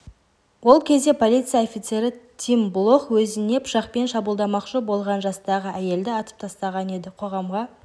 ол кезде полиция офицері тим блох өзіне пышақпен шабуылдамақшы болған жастағы әйелді атып тастаған еді қоғамға